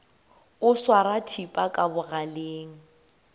o swara thipa ka bogaleng